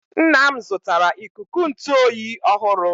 nna m zụtara ikuku ntụ oyi ọhụrụ